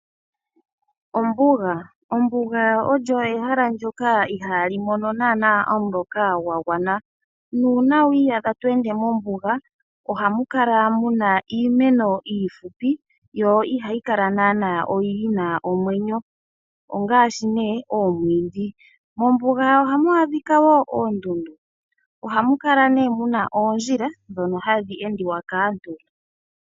Ombuga, Ombuga olyo ehala ndyoka ihaa li mono naana omuloka gwa gwana, nuuna wi iyadha to ende mombuga, ohamu kala muna iimeno iifupi yo ihayi kala naana yina omwenyo ongaashi nee omwiidhi. Mombuga ohamu adhika wo oondundu, ohamu kala muna nee oondjila ndhono hadhi endiwa kaantu.